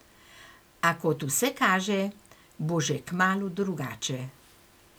A kot vse kaže, bo že kmalu drugače.